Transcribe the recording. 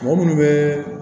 Mɔgɔ munnu be